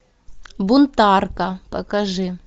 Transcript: бунтарка покажи